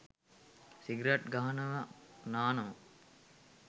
සිගරැටි ගහනව නානව